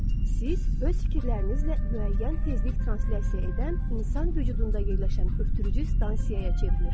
Siz öz fikirlərinizlə müəyyən tezlik translasiya edən insan vücudunda yerləşən ötürücü stansiyaya çevrilirsiniz.